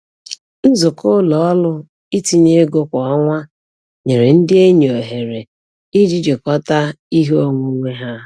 Nzukọ ụlọ ọrụ itinye ego kwa ọnwa nyere ndị enyi ohere iji jikọta ihe onwunwe ha.